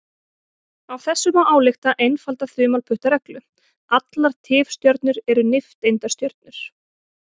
Af þessu má álykta einfalda þumalputtareglu: Allar tifstjörnur eru nifteindastjörnur.